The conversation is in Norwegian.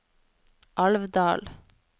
Alvdal